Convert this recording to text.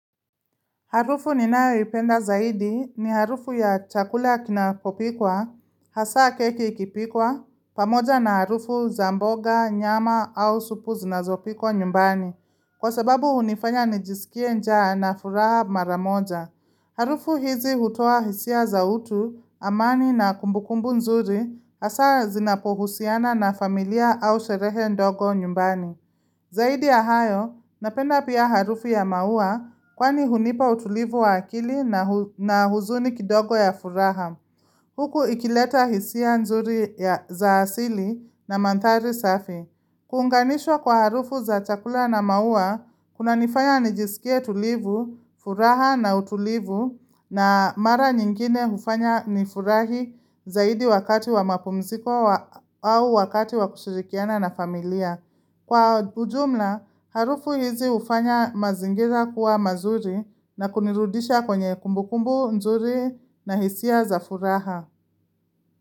Harufu ninayoipenda zaidi ni harufu ya chakula kinapopikwa, hasa keki ikipikwa, pamoja na harufu za mboga, nyama au supu zinazopikwa nyumbani. Kwa sababu hunifanya nijisikie njaa na furaha mara moja. Harufu hizi hutoa hisia za utu, amani na kumbukumbu nzuri, hasa zinapohusiana na familia au sherehe ndogo nyumbani. Zaidi ya hayo, napenda pia harufu ya maua kwani hunipa utulivu wa akili na huzuni kidogo ya furaha. Huku ikileta hisia nzuri za asili na mandhari safi. Kuunganishwa kwa harufu za chakula na maua, kunaniifanya nijisikie tulivu, furaha na utulivu na mara nyingine hufanya nifurahi zaidi wakati wa mapumziko au wakati wa kushirikiana na familia. Kwa ujumla, harufu hizi hufanya mazingira kuwa mazuri na kunirudisha kwenye kumbukumbu nzuri na hisia za furaha.